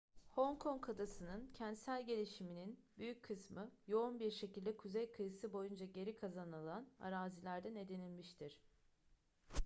hong kong adası'nın kentsel gelişiminin büyük kısmı yoğun bir şekilde kuzey kıyısı boyunca geri kazanılan arazilerden edinilmiştir